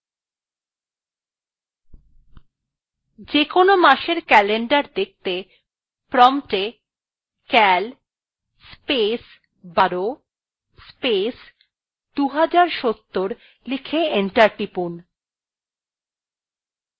যেকোন মাসের calendar দেখতে promptএ cal space ১২ space ২০৭০ লিখে enter টিপুন